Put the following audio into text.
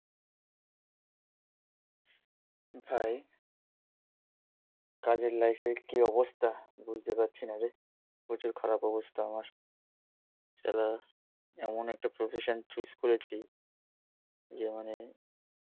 ভাই কাজের লাইফ এ কি অবস্থা বুঝতে পারছি না রে প্রচুর খারাপ অবস্থা আমার শালা এমন একটা profession chose করেছি যে মানে